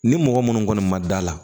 Ni mɔgɔ minnu kɔni ma da la